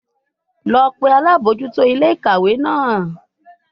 Lọ pe alabojuto ile-ikawe naa!